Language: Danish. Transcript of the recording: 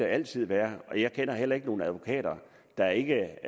altid være jeg kender heller ikke nogen advokater der ikke